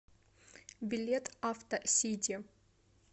билет авто сити